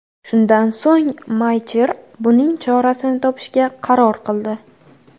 Shundan so‘ng Maycher buning chorasini topishga qaror qildi.